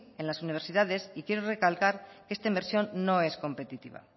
en las universidades y quiero recalcar que esta inversión no es competitiva